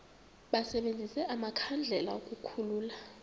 basebenzise amakhandlela ukukhulula